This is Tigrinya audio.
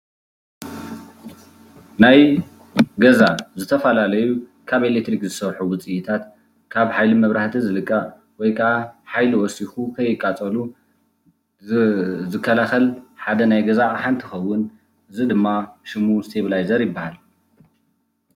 ናይ ገዛ ዝተፈላለዩ ካብ ኤሌክትሪክ ዝሰርሑ ውፅኢታት ካብ ሓይሊ መብራህቲ ዝልቐቕ ወይ ከኣ ሓይሊ ወሲኹ ከይቃፀሉ ዝከላኸል ሓደ ናይ ገዛ ኣቕሓ እንትኸውን እዚ ድማ ሽሙ ስቴኘላይዘር ይባሃል፡፡